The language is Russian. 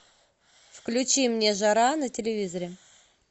включи мне жара на телевизоре